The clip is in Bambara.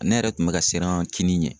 Ne yɛrɛ tun bɛ ka siran kinin ɲɛ.